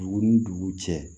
Dugu ni dugu cɛ